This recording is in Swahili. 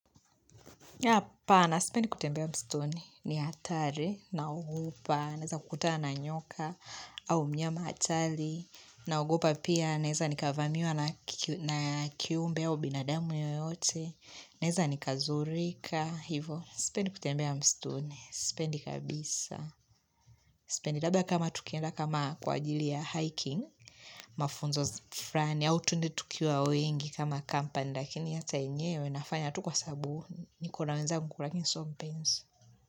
Yapana sipendi kutembea mstuni, ni atari naogopa, naeza kutana na nyoka au mnyama atali naogopa pia naeza nikavamiwa na kiumbe au binadamu yoyote, naeza nikazurika, hivo sipendi kutembea mstuni, sipendi kabisa sipendi labda kama tukienda kama kwa ajili ya hiking, mafunzo frani, au tuende tukiwa wengi kama company, lakini hata yenyewe nafanya tu kwa sabu, nikona wenzagy gulagin soft beans.